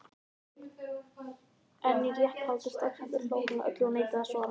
En í réttarhaldi strax á eftir hló hann að öllu og neitaði að svara.